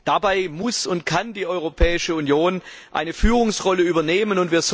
Dabei muss und kann die Europäische Union eine Führungsrolle übernehmen.